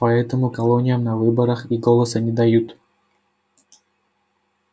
поэтому колониям на выборах и голоса не дают